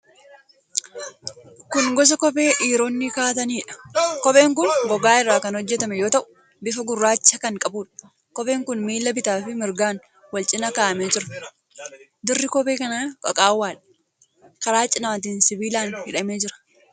Kun gosa kophee dhiironni kaa'ataniidha. Kopheen kun gogaa irraa kan hojjetame yoo ta'u, bifa gurraacha kan qabuudha. Kopheen kun miila bitaafi mirgaan wal cina kaa'amee jira. Dirri kophee kanaa qaqaawwaadha. Karaa cinaatiin sibiilaan hidhamee jira.